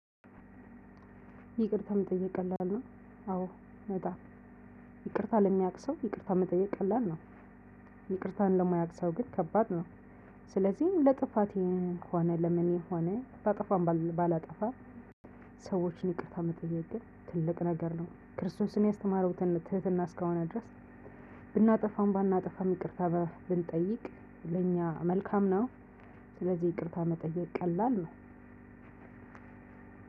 ይቅርታ መጠየቅ ቀላል ነው አዎ በጣም ይቅርታ ለሚያውቅ ሰው ይቅርታ መጠየቅ ቀላል ነው። ይቅርታን ለማያውቅ ሰው ግን ከባድ ነው። ስለዚህ ለጥፋቴ ሆነ ለምንም ሆነ ባጠፋም ባላጠፋም። ሰዎችን ይቅርታ መጠየቅ ግን ትልቅ ነገር ነው። ክርስቶስን ያስተማረው ትህትና እስከሆነ ድረስ። ብናጠፋም ባናጠፋም ይቅርታ ብንጠይቅ ለኛ መልካም ነው። ስለዚህ ይቅርታ መጠየቅ ቀላል ነው።